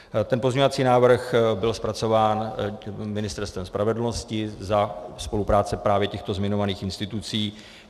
Ten pozměňovací návrh byl zpracován Ministerstvem spravedlnosti za spolupráce právě těchto zmiňovaných institucí.